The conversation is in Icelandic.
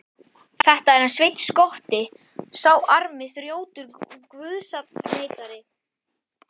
Þetta er hann Sveinn skotti, sá armi þrjótur og guðsafneitari.